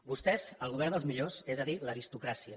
vostès el govern dels millors és a dir l’aristo cràcia